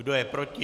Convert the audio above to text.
Kdo je proti?